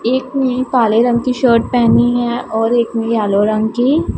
एक ने काले रंग की शर्ट पहनी है और एक ने येलो रंग की--